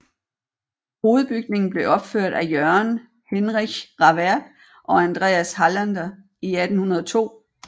Hovedbygningen blev opført af Jørgen Henrich Rawert og Andreas Hallander in 1802